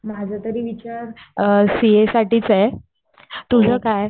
माझा तरी विचार सीए साठीच आहे. तुझं काय ?